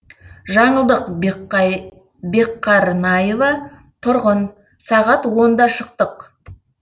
жаңылдық бекқарнайова тұрғын сағат онда шықтық